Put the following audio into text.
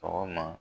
Sɔgɔma